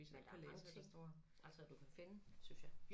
Men der mange ting altså at du kan finde synes jeg